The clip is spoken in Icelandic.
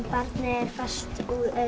fast